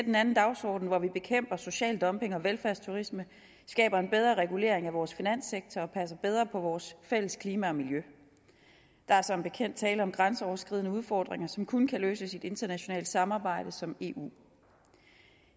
en anden dagsorden hvor vi bekæmper social dumping og velfærdsturisme skaber en bedre regulering af vores finanssektor og passer bedre på vores fælles klima og miljø der er som bekendt tale om grænseoverskridende udfordringer som kun kan løses i et internationalt samarbejde som eu